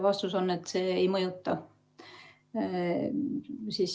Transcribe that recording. Vastus on, et see ei mõjuta seda.